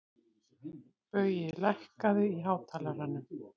Baui, lækkaðu í hátalaranum.